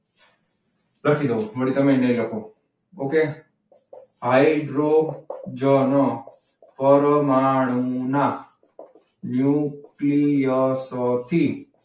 લખી દઉં છું ફરી તમે નહી લખો. okay હાઈડ્રોજન પરમાણુના ન્યુક્લિયસ થી,